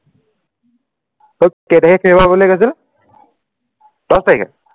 অ কেইতাৰিখে শেষ হোৱা বুলি কৈছিল দচ তাৰিখে